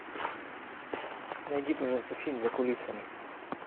найди пожалуйста фильм за кулисами